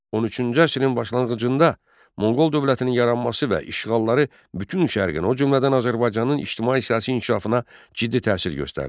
13-cü əsrin başlanğıcında Monqol dövlətinin yaranması və işğalları bütün şərqin, o cümlədən Azərbaycanın ictimai-siyasi inkişafına ciddi təsir göstərdi.